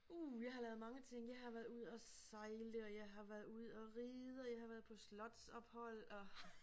Uh jeg har lavet mange ting jeg har været ude at sejle og jeg har været ude at ride og jeg har været på slotsophold og